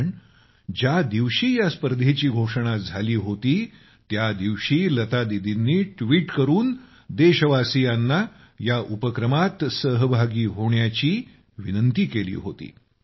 कारण ज्या दिवशी या स्पर्धेची घोषणा झाली होती त्यादिवशी लता दिदींनी ट्वीट करून देशवासियांना या उपक्रमात सहभागी होण्याचा आग्रह केला होता